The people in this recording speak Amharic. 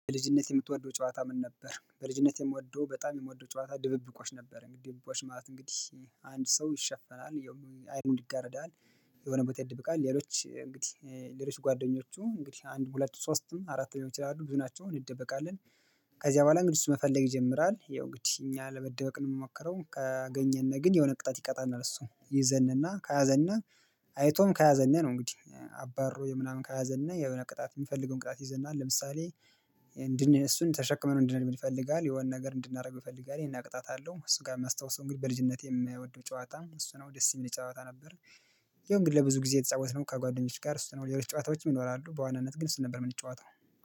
በልጅነትህ የምትወደው ጨዋታ ምን ነበር? በልጅነቴ የምወደው በጣም የምወደው ጨዋታ ድብብቆሽ ነበር። እንግዲህ ድብብቆሽ ማለት እንግዲህ አንድ ሰው ይሸፈናል አይኑን ይጋረዳል። የሆነ ቦታ ይደበቃል ሌሎች እንግዲህ ሌሎች ጓደኞቹ እንግዲህ አንድ ሁለት ሶስትም አራት ሊሆኑ ይችላሉ ብዙ ናቸው እንደበቃለን። ከዚያ በኋላ እንግዲህ እሱ መፈለግ ይጀምራል ይኸው እንግዲ እኛ ለመደበቅ ነው የምንሞክረው። ካገኘን ግን የሆነ ቅጣት ይቀጣናል እሱ ይዘንና ከያዘንና አይቶም ከያዘንና ነው እንግዲህ አባሮ ምናምን ከያዘና የሆነ ቅጣት የሚፈልገውን ቅጣት ያዘናል። ለምሳሌ እንድን እሱን ተሸክመነው እንድሄድ ይፈልጋል የሆነ ነገር እንድናደርገው ይፈልጋል ይሄን ቅጣት አለው። እሱ ጋር የማስታውሰው እንግዲህ በልጅነቴ የምወደው ጨዋታ እሱ ነው ደስ የሚል ጨዋታ ነበር። ያው እንግዲ ለብዙ ጊዜ የተጫወትነው ከጓደኞቼ ጋር እሱ ነው ሌሎች ጨዋታዎችም ይኖራሉ በዋናነት ግን እሱን ነበር የምንጫዋተው